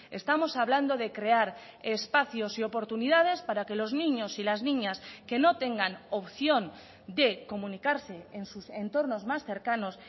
estamos hablando de crear espacios y oportunidades para que los niños y las niñas que no tengan opción de comunicarse en sus entornos más cercanos